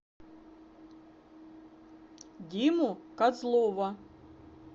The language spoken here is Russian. диму козлова